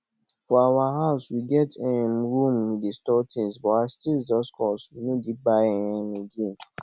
for our house we get um room we dey store things but as things just cost we no dey buy um again